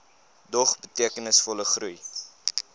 dog betekenisvolle groei